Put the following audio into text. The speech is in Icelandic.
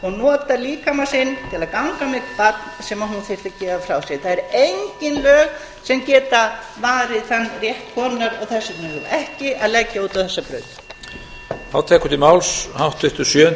barn og nota líkama sinn til að ganga með barn sem hún þyrfti að gefa frá sér það eru engin lög sem geta varið þann rétt konunnar og þess vegna eigum við ekki að leggja út á þessa braut